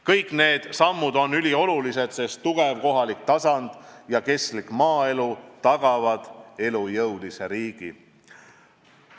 Kõik need sammud on üliolulised, sest tugev kohalik tasand ja kestlik maaelu tagavad elujõulise riigi.